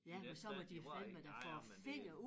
I det der de rører ikke nej nej men det